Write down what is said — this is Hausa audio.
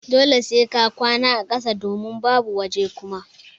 Dole sai ka kwana a ƙasa domin babu waje Kuma.